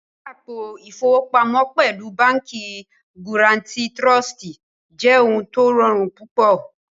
Ṣíṣẹ àpò ifowopamo pẹ̀lú Bánkì Guarantì Trụ̀stì jẹ́ ọ̀hun tó rọ̀run púpọ̀